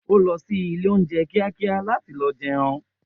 O lõsí ìlé ounjé kìákìá làtí lõ jéun